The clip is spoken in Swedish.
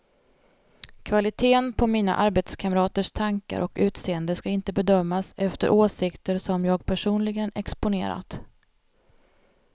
Kvaliteten på mina arbetskamraters tankar och utseende ska inte bedömas efter åsikter som jag personligen exponerat.